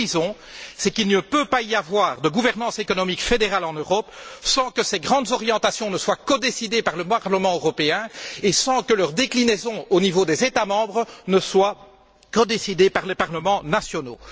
Ce que nous disons, c'est qu'il ne peut y avoir de gouvernance économique fédérale en Europe sans que ces grandes orientations ne soient codécidées par le Parlement européen et sans que leur déclinaison au niveau des États membres ne soit codécidée par les parlements nationaux.